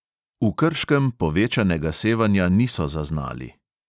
V krškem povečanega sevanja niso zaznali.